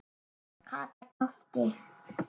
Kata gapti.